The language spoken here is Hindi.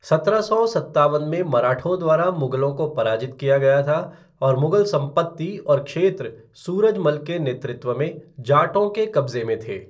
सत्रह सौ सत्तावन में मराठों द्वारा मुगलों को पराजित किया गया था और मुगल संपत्ति और क्षेत्र सूरज मल के नेतृत्व में जाटों के कब्जे में थे।